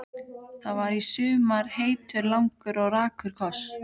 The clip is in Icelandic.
Það var í sumar heitur, langur og rakur koss.